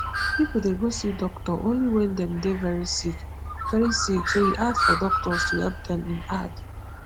pipo dey go see doctor only wen dem dey very sick very sick so e hard for doctors to help dem e add